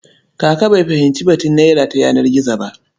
Kaka bai fahimci batun naira ta yanar gizo ba.